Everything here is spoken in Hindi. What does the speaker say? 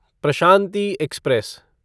प्रशांति एक्सप्रेस